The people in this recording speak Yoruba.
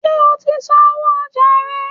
njẹ o tí sánwọ ọja rẹ?